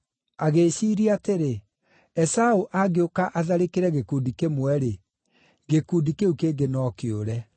Agĩĩciiria atĩrĩ, “Esaũ angĩũka atharĩkĩre gĩkundi kĩmwe-rĩ, gĩkundi kĩu kĩngĩ no kĩũre.”